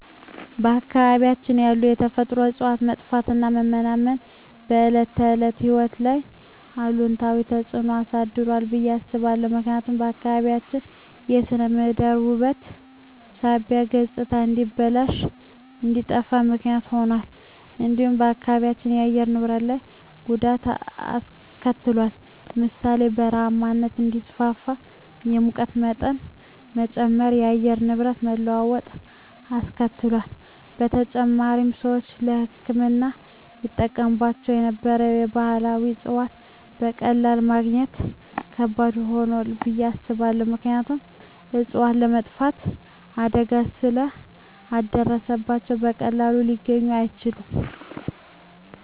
በአካባቢያችን ያሉ የተፈጥሮ እፅዋት መጥፋትና መመናመን በዕለት ተዕለት ሕይወት ላይ አሉታዊ ተጽዕኖ አሳድሯል ብየ አስባለሁ። ምክንያቱም የአካባቢያችን ስነ ምህዳር ውበት ሳቢነት ገፅታ እንዲበላሽ እንዲጠፋ ምክንያት ሁኗል። እንዲሁም በአካባቢው የአየር ንብረት ላይ ጉዳት አሰከትሏል ለምሳሌ ( በረሃማነት እንዲስፋፋ፣ የሙቀት መጨመር፣ የአየር ንብረት መለዋወጥ አስከትሏል። በተጨማሪም፣ ሰዎች ለሕክምና ይጠቀሙባቸው የነበሩ ባህላዊ እፅዋትን በቀላሉ ማግኘት ከባድ ሆኗል ብየ አስባለሁ። ምክንያቱም እፅዋቶቹ የመጥፋት አደጋ ስለ ደረሰባቸው በቀላሉ ሊገኙ አይችሉም።